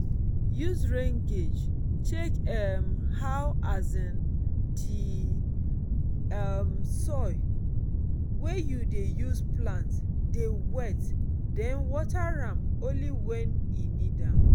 use rain gauge check um how um di um soil wey you dey use plant dey wet den water am only when e need am